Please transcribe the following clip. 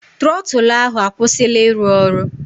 Trọtụlụ ahụ akwụsịla ịrụ ọrụ.